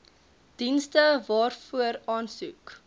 dienste waarvoor aansoek